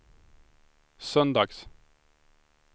söndags